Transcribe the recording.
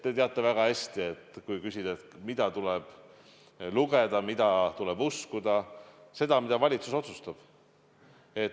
Te teate väga hästi, mida tuleb lugeda, mida tuleb uskuda: seda, mida valitsus otsustab.